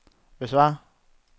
besvar